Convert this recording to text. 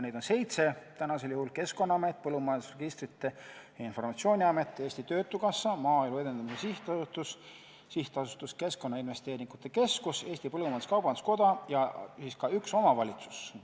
Neid on seitse: Keskkonnaamet, Põllumajanduse Registrite ja Informatsiooni Amet, Eesti Töötukassa, Maaelu Edendamise Sihtasutus, SA Keskkonnainvesteeringute Keskus, Eesti Põllumajandus-Kaubanduskoda ja siis ka üks omavalitsus.